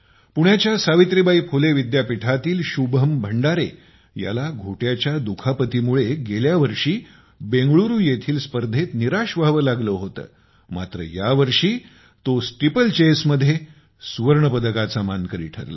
पुण्याच्या सावित्राबाई फुले विद्यापीठातील शुभम भंडारे याला घोट्याच्या दुखापतीमुळे गेल्या वर्षी बेंगळूरु येथील स्पर्धेत निराश व्हावे लागले होते मात्र यावर्षी तो स्टीपलचेस मध्ये सुवर्णपदकाचा मानकरी ठरला